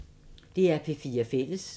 DR P4 Fælles